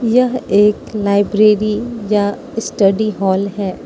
यह एक लाइब्रेरी या स्टडी हॉल है।